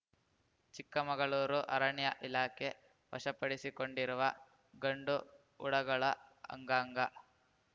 ಚಿಕ್ಕಮಗಳೂರು ಅರಣ್ಯ ಇಲಾಖೆ ವಶಪಡಿಸಿಕೊಂಡಿರುವ ಗಂಡು ಉಡಗಳ ಅಂಗಾಂಗ